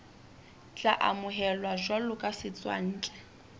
tla amohelwa jwalo ka setswantle